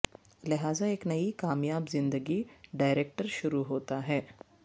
لہذا ایک نئی کامیاب زندگی ڈائریکٹر شروع ہوتا ہے